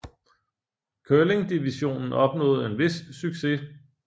Curling divisionen opnåede en vis succes